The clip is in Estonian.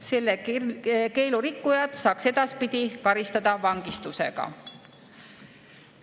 Selle keelu rikkujat saaks edaspidi karistada vangistusega.